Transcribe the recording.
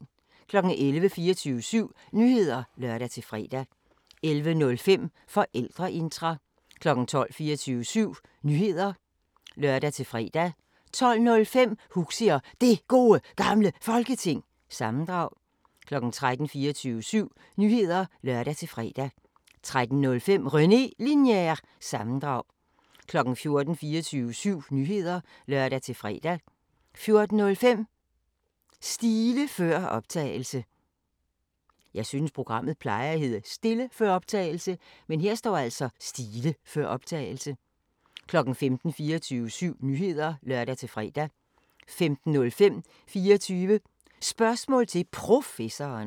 11:00: 24syv Nyheder (lør-fre) 11:05: Forældreintra 12:00: 24syv Nyheder (lør-fre) 12:05: Huxi og Det Gode Gamle Folketing – sammendrag 13:00: 24syv Nyheder (lør-fre) 13:05: René Linjer- sammendrag 14:00: 24syv Nyheder (lør-fre) 14:05: Stile før optagelse 15:00: 24syv Nyheder (lør-fre) 15:05: 24 Spørgsmål til Professoren